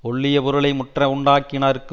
ஒள்ளிய பொருளை முற்ற உண்டாக்கினார்க்கு